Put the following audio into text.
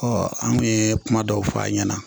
an kun ye kuma dɔw fɔ a ɲɛna